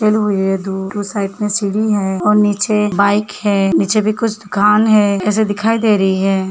दूर उस साइड में सीढ़ी हैं और नीचे बाइक हैं। निचे कुछ दुकान है। ऐसे दिखाई दे रही है।